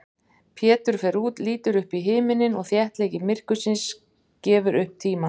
Pétur fer út, lítur upp í himininn og þéttleiki myrkursins gefur upp tímann.